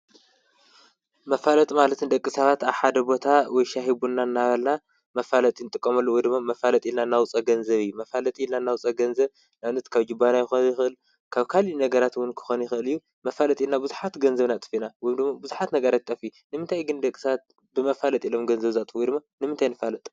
መፋለጥ ማለት ንደቂ ሳባት ኣሓደቦታ ወሻሂቡና እናባና መፋለ ጥንጥቆመሉ ውድሚ መፋለጥ ኢናናውፀ ገንዘብ መፋለጥ ኢና ናውፀ ገንዘ ላውነት ካብ ጅባና ይኮኽል ካብ ካል ነገራትውን ክኾኑ ይኸልዩ መፋለጥ ኢልና ብዙኃት ገንዘብና ጥፊና ውምዶሞ ብዙኃት ነጋረትጠፊ ንምንታይ ግን ደክሳት ብመፋለጥ ኢሎም ገንዘብዛትዊ ድሚ ንምንት ንፋለጦ?